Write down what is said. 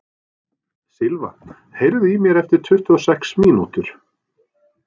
Silva, heyrðu í mér eftir tuttugu og sex mínútur.